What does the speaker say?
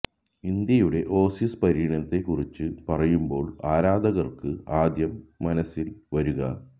ഇന്ത്യയുടെ ഓസീസ് പര്യടനത്തെ കുറിച്ച് പറയുമ്പോള് ആരാധകര്ക്ക് ആദ്യം മനസില് വരുക